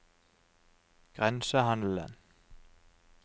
grensehandelen